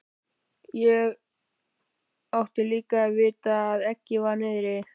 Og ég átti líka að vita að eggið var niðri.